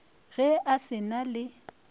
ge a se na le